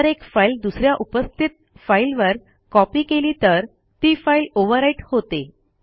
जर एक फाईल दुस या उपस्थित फाईलवर कॉपी केली तर ती फाईल ओव्हरराईट होते